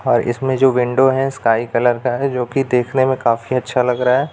और इसमें जो विंडो है स्काई कलर का है जो कि देखने में काफी अच्छा लग रहा है।